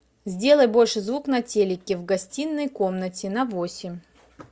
сделай больше звук на телике в гостиной комнате на восемь